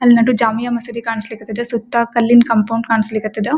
ಅಲ್ಲೊಂದು ಜಾಮಿಯಾ ಮಸೀದಿ ಕಾನ್ಸ್ಲೀಕ್ ಹತ್ತದ ಸುತ್ತ ಕಲ್ಲಿನ ಕಾಂಪೌಂಡ್ ಕನ್ಸ್ಲೀಕ್ ಹತ್ತದ.